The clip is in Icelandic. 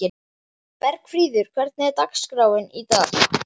Bergfríður, hvernig er dagskráin í dag?